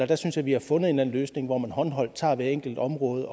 der synes jeg vi har fundet en løsning hvor man håndholdt tager hvert enkelt område